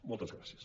moltes gràcies